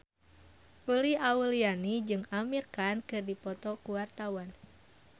Uli Auliani jeung Amir Khan keur dipoto ku wartawan